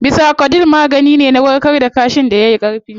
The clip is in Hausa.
Bisacodyl magani ne na warkar da kaashin da yayi Ƙarfi